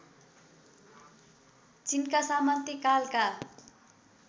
चीनका सामन्ती कालका